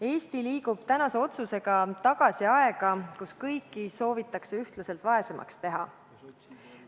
Eesti liigub tänase otsusega tagasi aega, kui kõiki sooviti ühtlaselt vaesemaks teha.